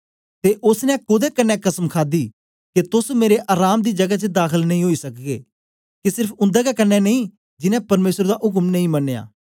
ते ओसने कोदे कन्ने कसम खादी के तोस मेरे अराम दी जगै च दाखल नेई ओई सकगे के सेर्फ उन्देगै कन्ने नेई जिनैं परमेसर दा उक्म नेई मनया